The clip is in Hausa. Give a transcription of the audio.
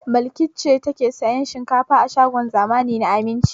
Balki ce take sayan shinkafa a shagon zamani na Aminci.